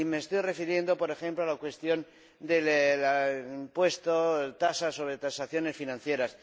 Y me estoy refiriendo, por ejemplo, a la cuestión del impuesto, tasas, sobre transacciones financieras.